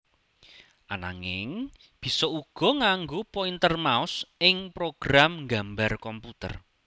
Ananging bisa uga nganggo pointer mouse ing program nggambar komputer